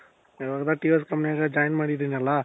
ಇವಾಗೆಲ್ಲಾ TVSs companyಲಿ join ಮಾಡಿದೀನಲ್ಲ ?